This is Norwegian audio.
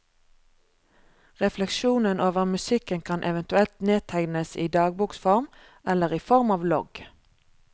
Refleksjonen over musikken kan eventuelt nedtegnes i dagboksform, eller i form av logg.